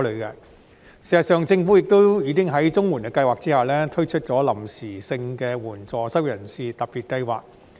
事實上，政府已經在綜援計劃下推出臨時性質的援助失業人士特別計劃。